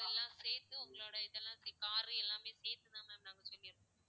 so எல்லாம் சேர்த்து, உங்களோட இதெல்லாம் சே~ car எல்லாமே சேர்த்துதான் ma'am நாங்க சொல்லியிருக்கோம்.